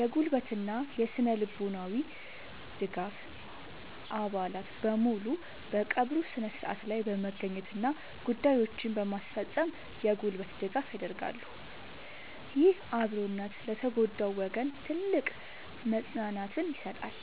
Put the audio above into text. የጉልበትና ስነ-ልቦናዊ ድጋፍ፦ አባላት በሙሉ በቀብሩ ሥነ ሥርዓት ላይ በመገኘትና ጉዳዮችን በማስፈጸም የጉልበት ድጋፍ ያደርጋሉ። ይህ አብሮነት ለተጎዳው ወገን ትልቅ መጽናናትን ይሰጣል።